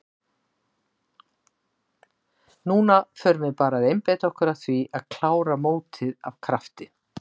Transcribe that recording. Núna förum við bara að einbeita okkur að því að klára mótið af krafti.